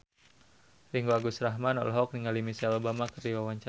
Ringgo Agus Rahman olohok ningali Michelle Obama keur diwawancara